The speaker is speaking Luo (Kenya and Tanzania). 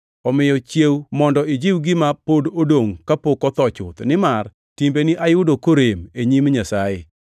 Omiyo chiew! Mondo ijiw gima pod odongʼno kapok otho chuth, nimar timbeni ayudo korem e nyim Nyasaye.